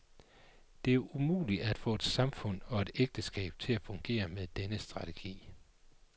Det er umuligt at få et samfund og et ægteskab til at fungere med denne strategi.